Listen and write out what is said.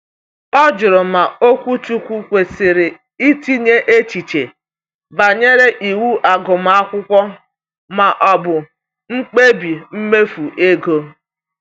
Ọ jụrụ ma okwuchukwu kwesịrị itinye echiche banyere iwu agụmakwụkwọ ma ọ bụ mkpebi mmefu ego.